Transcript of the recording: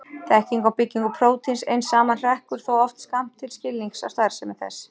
Þekking á byggingu prótíns ein saman hrekkur þó oft skammt til skilnings á starfsemi þess.